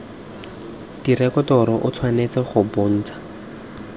direkoto o tshwanetse go bontsha